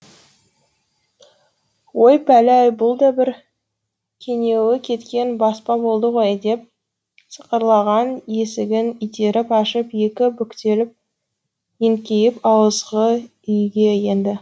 ой пәлі ай бұл да бір кенеуі кеткен баспа болды ғой деп сықырлаған есігін итеріп ашып екі бүктеліп еңкейіп ауызғы үйге енді